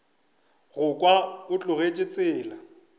go kwa o tlogetše tsela